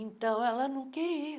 Então, ela não queria.